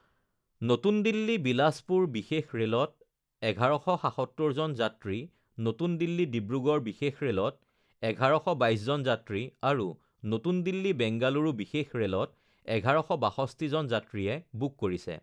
নতুন দিল্লী বিলাসপুৰ বিশেষ ৰে লত ১১৭৭জন যাত্ৰী, নতুন দিল্লী ডিব্ৰুগ্ৰড় বিশেষ ৰেলত ১১২২জন যাত্ৰী আৰু নতুন দিল্লী বেংগালুৰু বিশেষ ৰে লত ১১৬২জন যাত্ৰীয়ে বুক কৰিছে